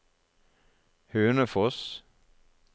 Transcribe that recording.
Hønefoss